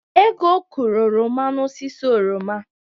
Ego kụrụ oroma n'osisi oroma.